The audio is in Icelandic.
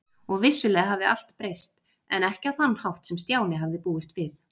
Og vissulega hafði allt breyst, en ekki á þann hátt sem Stjáni hafði búist við.